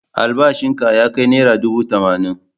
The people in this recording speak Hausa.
Albashinka ya kai naira dubu tamanin.